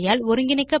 httpspoken tutorialorg